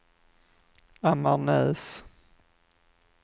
Ammarnäs